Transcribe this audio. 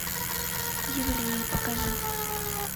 евреи покажи